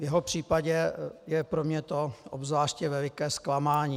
V jeho případě je to pro mě obzvláště veliké zklamání.